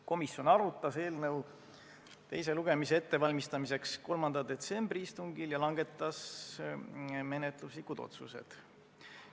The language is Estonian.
Komisjon valmistas eelnõu teist lugemist ette 3. detsembri istungil ja langetas menetluslikud otsused.